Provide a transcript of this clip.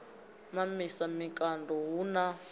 mamisa mikando a hu na